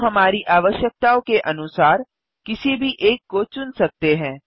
हम हमारी आवश्यकताओं के अनुसार किसी भी एक को चुन सकते हैं